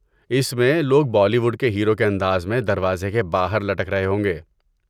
اس میں لوگ Bollywood کے ہیرو کے انداز میں دروازے کے باہر لٹک رہے ہوں گے۔